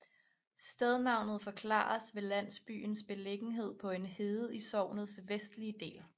Stednavnet forklares ved landsbyens beliggenhed på en hede i sognets vestlige del